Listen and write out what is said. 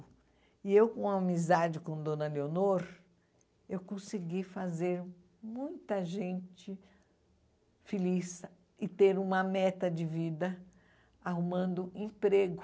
E eu, com a amizade com Dona Leonor, eu consegui fazer muita gente feliz e ter uma meta de vida arrumando emprego